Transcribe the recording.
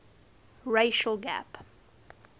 racial gap